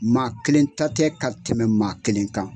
Maa kelen ta tɛ ka tɛmɛ maa kelen kan.